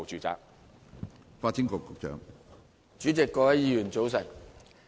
主席，各位議員，早晨。